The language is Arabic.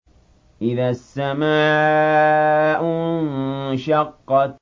إِذَا السَّمَاءُ انشَقَّتْ